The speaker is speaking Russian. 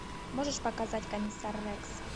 можешь показать комиссар рекс